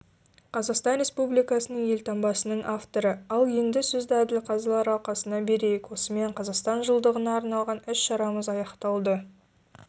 қазақстан республикасының елтаңбасының авторы ал енді сөзді әділқазылар алқасына берейік осымен қазақстан жылдығына арналған іс-шарамыз аяқталды